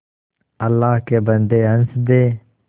अल्लाह के बन्दे हंस दे